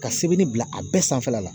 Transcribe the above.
Ka sɛbɛnni bila a bɛɛ sanfɛla la